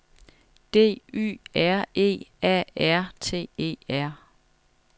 D Y R E A R T E R